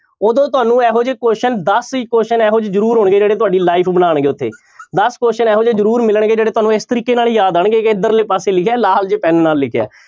ਉਦੋਂ ਤੁਹਾਨੂੰ ਇਹੋ ਜਿਹੇ question ਦਸ question ਇਹੋ ਜਿਹੇ ਜ਼ਰੂਰ ਆਉਣਗੇ ਜਿਹੜੇ ਤੁਹਾਡੀ life ਬਣਾਉਣਗੇ ਉੱਥੇ ਦਸ question ਇਹੋ ਜਿਹੇ ਜ਼ਰੂਰ ਮਿਲਣਗੇ ਜਿਹੜੇ ਤੁਹਾਨੂੰ ਇਸ ਤਰੀਕੇ ਨਾਲ ਯਾਦ ਆਉਣਗੇ ਕਿ ਇੱਧਰਲੇ ਪਾਸੇ ਲਿਖਿਆ ਲਾਲ ਜਿਹੇ ਪੈਨ ਨਾਲ ਲਿਖਿਆ।